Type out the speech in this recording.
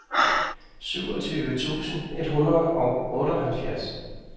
syvogtyve tusind et hundrede og otteoghalvfjerds